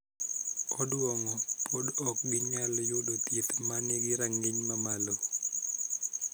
Odwongo pod ok ginyal yudo thieth ma nigi rang�iny mamalo.